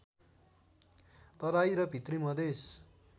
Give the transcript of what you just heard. तराई र भित्री मधेश